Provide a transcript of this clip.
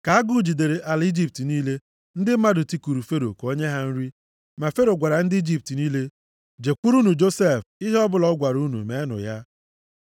Ka agụ jidere ala Ijipt niile, ndị mmadụ tikuru Fero ka o nye ha nri. Ma Fero gwara ndị Ijipt niile, “Jekwurunụ Josef. Ihe ọbụla ọ gwara unu meenụ ya.”